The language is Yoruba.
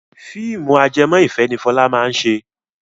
Fíìmù ajẹmọ́ ìfẹ́ ni Fọlá máa ṣe.